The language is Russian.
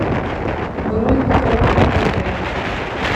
бронь хоум отель